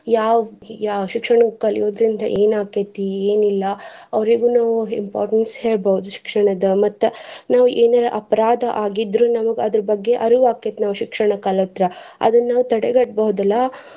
ಯಾವ್ ಶಿಕ್ಷಣ ಕಲಿಯೊದ್ರಿಂದ ಏನ ಆಕ್ಕೇತಿ, ಎನಿಲ್ಲಾ ಅವ್ರಿಗು ನಾವ್ importance ಹೇಳ್ಬಹುದ್ ಶಿಕ್ಷಣದ ಮತ್ತ್ ನಾವ್ ಎನಾರ ಅಪರಾಧಾ ಆಗಿದ್ರೂ ನಮ್ಗ್ ಅದರ ಬಗ್ಗೆ ಅರಿವ ಆಕ್ಕೇತಿ ನಮ್ಗ್ ಶಿಕ್ಷಣ ಕಲತ್ರ. ಅದನ್ನ ನಾವ್ ತಡೆಗಟ್ಟಬಹುದಲ್ಲಾ.